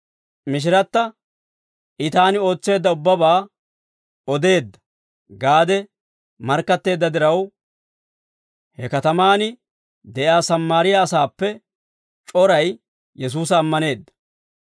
Mishiratta, «I taani ootseedda ubbabaa odeedda» gaade markkatteedda diraw, he katamaan de'iyaa Sammaariyaa asaappe c'oray Yesuusa ammaneedda.